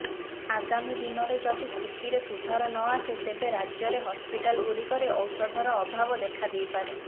ଆଗାମୀ ଦିନରେ ଯଦି ସ୍ଥିତିରେ ସୁଧାର ନ ଆସେ ତେବେ ରାଜ୍ୟରେ ହସ୍ପିଟାଲଗୁଡିକରେ ଔଷଧର ଅଭାବ ଦେଖା ଦେଇପାରେ